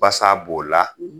Basa b'o la